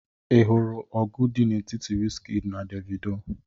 ị hụrụ ọgụ dị n'etiti wizkid na Davido?